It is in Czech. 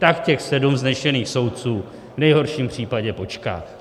Tak těch sedm vznešených soudců v nejhorším případě počká.